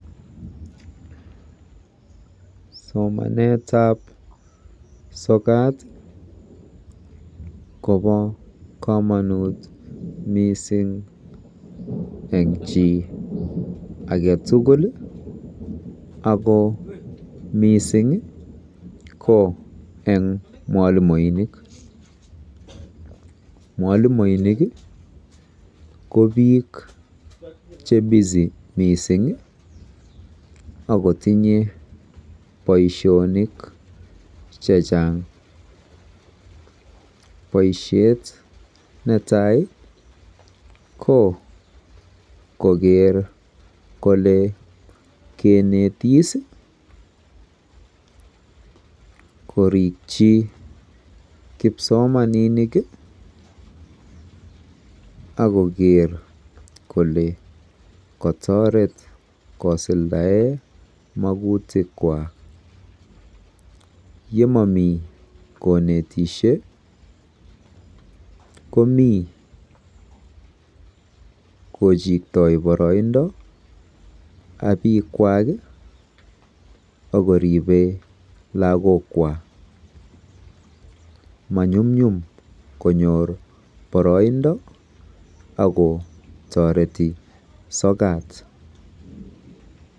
SOmanetab sokat kobo komonut mising eng chi age tugul ako miising ko eng mwalimoinik. Mwalimoinik ko biiik che Busy mising akotinye boisionik chechang. Boisiet netai ko koker kole kenetis, korikchi kipsomaninik akoker kole kotoret kosuldae magutikwa. Yemami konitishei komi kojiktoi boroindo ak bikwaak akoribe lagokwa. Manyumnyum konyor boroindo akotoreti sokat.